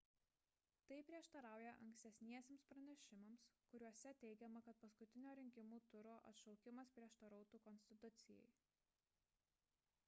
tai prieštarauja ankstesniems pranešimams kuriuose teigiama kad paskutinio rinkimų turo atšaukimas prieštarautų konstitucijai